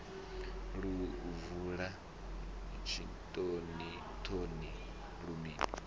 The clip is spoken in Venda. lu bvula tshitoni thoni lulimi